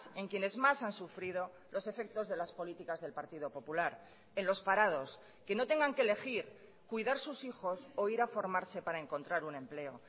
en quienes más han sufrido los efectos de las políticas del partido popular en los parados que no tengan que elegir cuidar sus hijos o ir a formarse para encontrar un empleo